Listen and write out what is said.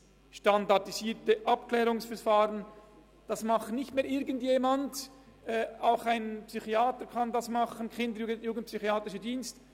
Dieses SAV machen neu die Erziehungsberatungsstellen und die ERZ, nicht mehr irgendjemand, nicht ein Psychiater oder der kinder- und jugendpsychiatrischer Dienst.